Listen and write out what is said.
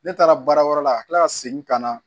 Ne taara baara wɛrɛ la ka tila ka segin ka na